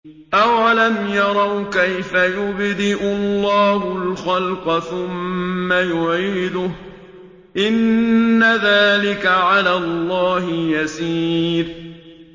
أَوَلَمْ يَرَوْا كَيْفَ يُبْدِئُ اللَّهُ الْخَلْقَ ثُمَّ يُعِيدُهُ ۚ إِنَّ ذَٰلِكَ عَلَى اللَّهِ يَسِيرٌ